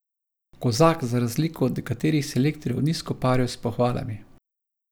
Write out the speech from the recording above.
Kozak za razliko od nekaterih selektorjev ni skoparil s pohvalami.